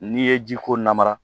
N'i ye ji ko namara